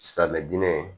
Silamɛmɛ diinɛ ye